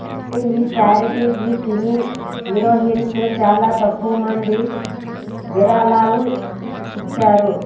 కానీ ఈ చారిటికి సినీ హీరోయిన్స్ చాలా తక్కువమంది విరాళాలు ఇచ్చారు